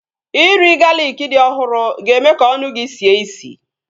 Iri galịkị dị ọhụrụ ga-eme ka ọnụ gị sie isi